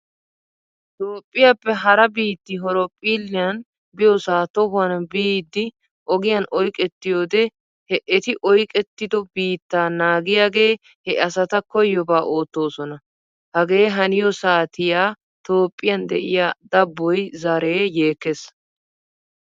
Toophphiyaappe hara biitti horoophilliyan biyoosaa tohuwan biiddi ogiyan oyqettiyoodee he eti oyqettido biittaa naagiyaagee he asata koyyobaa oottoosona. Hage haniyoo satiya Toophphiyan de"iyaa daboy zaree yeekkes.